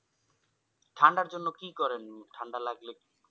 ঠান্ডার জন্য কি করেন ঠান্ডা লাগলে?